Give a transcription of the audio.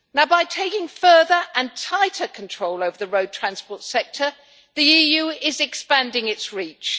By taking further and tighter control over the road transport sector, the EU is expanding its reach.